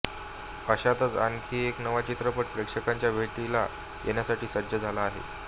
अशातच आणखी एक नवा चित्रपट प्रेक्षकांच्या भेटीला येण्यासाठी सज्ज झाला आहे